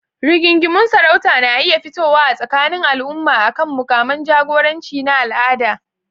Rigingimun sarauta na iya fitowa a tsakanin al'umma akan mukaman jagoranci na al'ada.